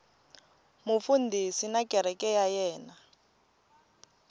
mufundhisi na kereke ya yena